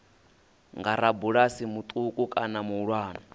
nga rabulasi muṱuku kana muhulwane